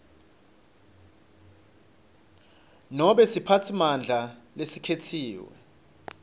nobe siphatsimandla lesikhetsiwe